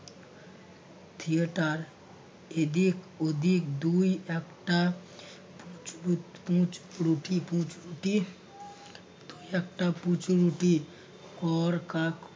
theater এদিক ওদিক দুই একটা দুই একটা পুচু কর কাক